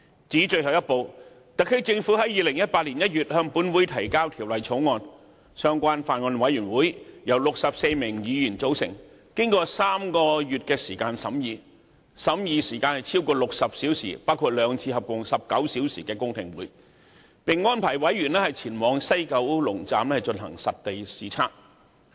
至於最後一步，特區政府在2018年1月向本會提交《條例草案》，相關法案委員會由64名議員組成，進行了3個月的審議，審議時間超過60小時，包括兩次合共19小時的公聽會，並安排委員前往西九龍站進行實地視察。